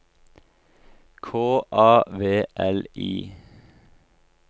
K A V L I